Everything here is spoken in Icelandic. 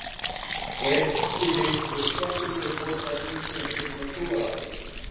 Ef til vill hefur kettinum verið fórnað í tengslum við einhverskonar trúarathöfn.